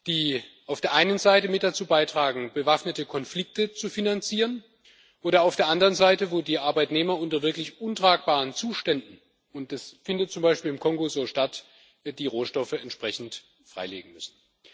die auf der einen Seite mit dazu beitragen, bewaffnete Konflikte zu finanzieren, und auf der anderen Seite, wo die Arbeitnehmer unter wirklich untragbaren Zuständen und das findet zum Beispiel im Kongo so statt die Rohstoffe entsprechend freilegen müssen.